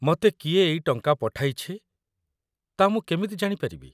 ମତେ କିଏ ଏଇ ଟଙ୍କା ପଠାଇଛି, ତା' ମୁଁ କେମିତି ଜାଣିପାରିବି ?